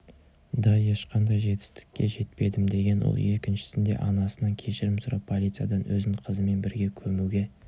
да ешқандай жетістікке жетпедім деген ол екіншісінде анасынан кешірім сұрап полициядан өзін қызымен бірге көмуге